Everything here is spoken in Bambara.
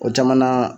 O jamana